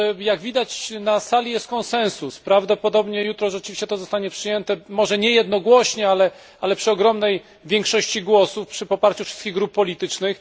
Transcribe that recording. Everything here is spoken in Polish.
Jak widać, na sali jest konsensus, prawdopodobnie jutro rzeczywiście to zostanie przyjęte, może nie jednogłośnie, ale przy ogromnej większości głosów i poparciu wszystkich grup politycznych.